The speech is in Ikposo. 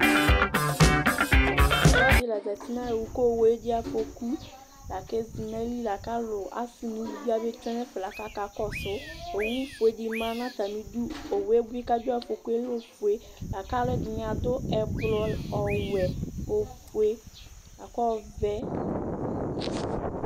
Ɔlɔdi la zati nʋ owʋ kʋ owʋ edze afɔkʋ kʋ ezinʋ atili lakʋ alʋ asi nʋ ʋlʋvi aba kɔnʋ ɛfɛ lakʋ akakɔsʋ Owʋfue dimanʋ atami idʋ, owʋ kʋ adʋ afɔkʋe alɛ ofue kakʋ alʋɛdini adʋ ɛblɔ, nʋ ɔwɛ, nʋ ofue, lakb ɔʋɛ